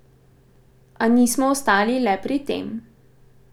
A nismo ostali le pri tem.